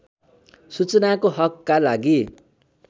सूचनाको हकका लागि